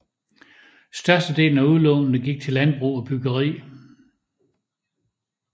Størstedelen af udlånene gik til landbrug og byggeri